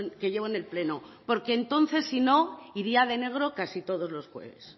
que llevo en el pleno porque entonces si no iría de negro casi todos los jueves